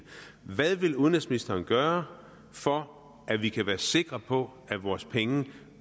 hvad vil udenrigsministeren gøre for at vi kan være sikre på at vores penge